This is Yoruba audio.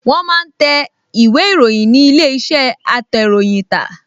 Wọ́n máa ń tẹ ìwé-ìròyìn ní ilé-iṣẹ́ atẹ̀ròyìntà